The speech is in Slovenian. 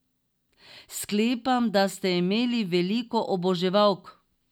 Sklepam, da ste imeli veliko oboževalk ...